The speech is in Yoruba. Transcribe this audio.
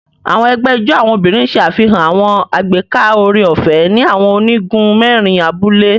Àwọn egbé ijó àwọn obìnrin ṣe àfihàn àwọn agbeka oore-ọfẹ ni awọn onigun mẹrin abúlé